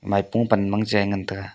maipo pan mang che a tega.